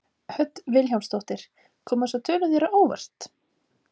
Hödd Vilhjálmsdóttir: Koma þessar tölur þér á óvart?